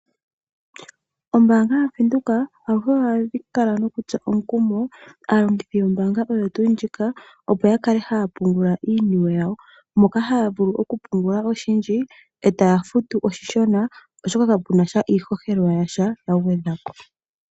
Ombaanga yaVenduka aluhe ohayi kala nokutsa omukumo aalongithi yombaanga oyo tuu ndjika, opo ya kale haya pungula iiniwe yawo. Moka haya vulu okupungula oshindji etaya futu oshishona, oshoka ka kuna iishoshela yasha yagwedhwa po.